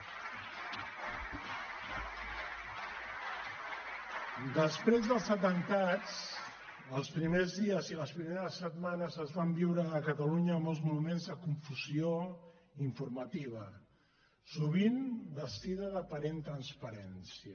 després dels atemptats els primers dies i les primeres setmanes es van viure a catalunya molts moments de confusió informativa sovint vestida d’aparent transparència